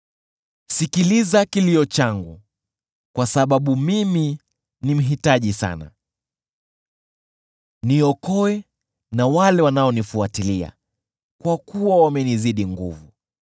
Sikiliza kilio changu, kwa sababu mimi ni mhitaji sana; niokoe na wale wanaonifuatilia, kwa kuwa wamenizidi nguvu.